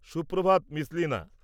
Suprabhat, miss Leena!